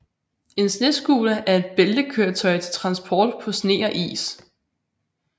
En snescooter er et bæltekøretøj til transport på sne og is